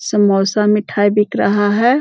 समोसा मिठाई बिक रहा है।